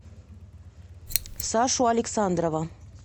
сашу александрова